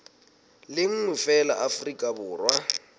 le nngwe feela afrika borwa